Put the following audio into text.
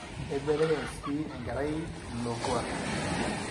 eibelekeny sii enkerai ilo kuaak